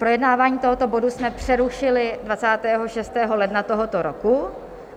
Projednávání tohoto bodu jsme přerušili 26. ledna tohoto roku.